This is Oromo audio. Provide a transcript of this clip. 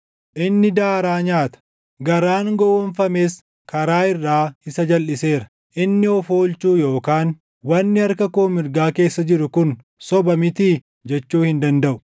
Inni daaraa nyaata; garaan gowwoomfames karaa irraa isa jalʼiseera; inni of oolchuu yookaan, “Wanni harka koo mirgaa keessa jiru kun soba mitii?” // jechuu hin dandaʼu.